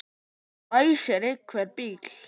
Nú ræsir einhver bíl.